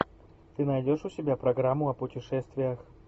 ты найдешь у себя программу о путешествиях